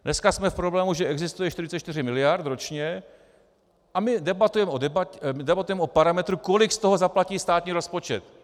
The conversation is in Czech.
Dneska jsme v problému, že existuje 44 miliard ročně a my debatujeme o parametru, kolik z toho zaplatí státní rozpočet.